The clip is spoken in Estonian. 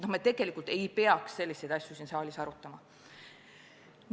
Me tegelikult ei peaks selliseid asju siin saalis arutama.